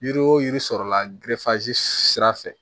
Yiri o yiri sɔrɔla sira fɛ